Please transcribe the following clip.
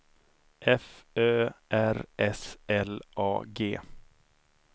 F Ö R S L A G